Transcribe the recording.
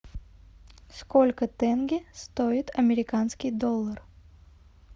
сколько тенге стоит американский доллар